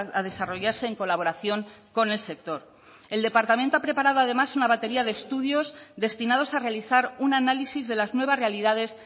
a desarrollarse en colaboración con el sector el departamento ha preparado además una batería de estudios destinados a realizar un análisis de las nuevas realidades